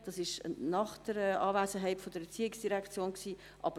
Diese Diskussion fand nach der Anwesenheit der ERZ statt.